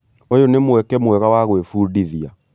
ũyũ nĩ mweke mwega wa gwĩbundithia.